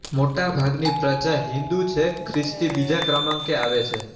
મોટાભાગની પ્રજા હિંદુ છે ખ્રિસ્તી બીજા ક્રમાંકે આવે છે